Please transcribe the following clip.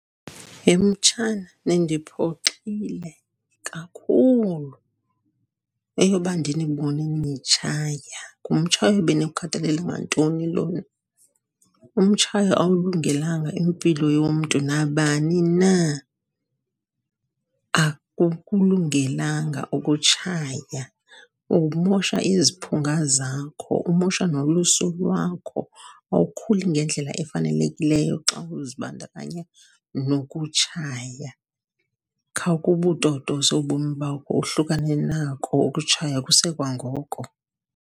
Ye mtshana, nindiphoxile kakhulu, eyoba ndinibone nitshaya. Ngumtshayo ebeniwukhathalele ngantoni lona? Umtshayo awulungelanga impilo yomntu, nabani na. Akukulungelanga ukutshaya, kumosha iziphunga zakho, umosha nolusu lwakho. Awukhuli ngendlela efanelekileyo xa uzibandakanye nokutshaya. Khawuke ubutotose ubomi bakho, uhlukane nako ukutshaya kusekwangoko.